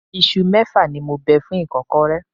Isu mẹ́fà ni mo bẹ fún ìkọ́kọrẹ́.